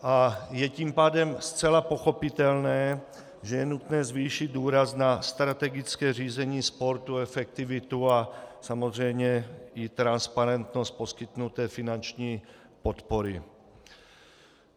A je tím pádem zcela pochopitelné, že je nutné zvýšit důraz na strategické řízení sportu, efektivitu a samozřejmě i transparentnost poskytnuté finanční podpory.